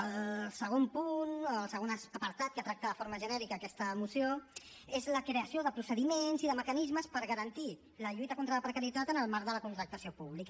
el segon punt o el segon apartat que tracta de forma genèrica aquesta moció és la creació de procediments i de mecanismes per garantir la lluita contra la precarietat en el marc de la contractació pública